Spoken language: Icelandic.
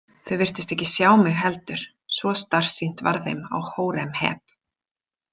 Þau virtust ekki sjá mig heldur, svo starsýnt varð þeim á Hóremheb.